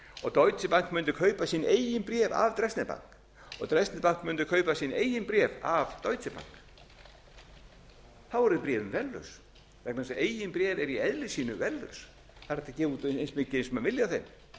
og deutsche bank mundi kaupa sín eigin bréf af dresdner bank og dresdner bank mundi kaupa sín eigin bréf af deutsche bank þá yrðu bréfin verðlaus vegna þess að eigin bréf eru í eðli sínu verðlaus það er hægt að gefa út eins mikið og menn vilja af þeim